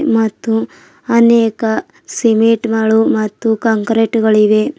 ಮತ್ತು ಅನೇಕ ಸಿಮೆಟ್ ಗಳು ಮತ್ತು ಕಾಂಕ್ರೇಟ್ ಗಳು ಇವೆ.